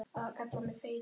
Nei, ekki mikið núna.